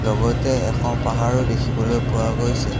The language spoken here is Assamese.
লগতে এখন পাহৰো দেখিবলৈ পোৱা গৈছে।